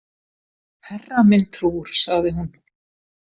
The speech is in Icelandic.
Herra minn trúr, sagði hún.